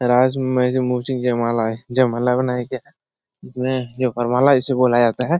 जयमाला है। जयमाला बनाया गया है। जिसमें वरमाला उसे बोला जाता है।